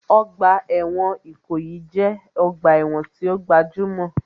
Ọgbà ẹ̀wọ̀n Ìkòyí jẹ́ ọgbà ẹ̀wọ̀n tí ó gbajúmọ̀